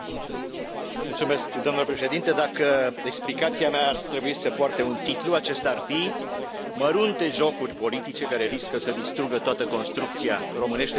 Domnule președinte, dacă explicația mea ar trebui să poarte un titlu, acesta ar fi mărunte jocuri politice care riscă să distrugă toată construcția în românește să spune șandramaua.